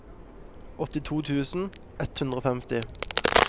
åttito tusen ett hundre og femti